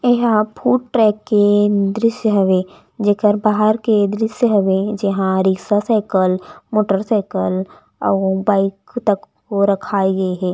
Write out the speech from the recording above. एहा food truck के दृश्य हवे जेकर बाहर के दृश्य हवे जेहा रिक्सा साइकिल मोटरसाइकिल और बाइक तको रखाए गे हे।